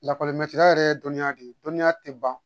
Lakɔli yɛrɛ ye dɔnniya de ye dɔnniya tɛ ban